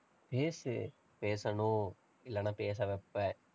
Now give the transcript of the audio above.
பேசு. பேசணும். இல்லன்னா பேச வைப்பேன்.